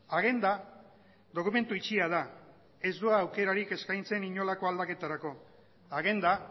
agenda dokumentu itxia da ez du aukerarik eskaintzen inolako aldaketarako agenda